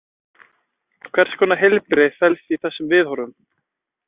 Hvers konar heilbrigði felst í þessum viðhorfum?